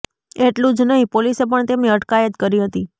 એટલું જ નહીં પોલીસે પણ તેમની અટકાયત કરી હતી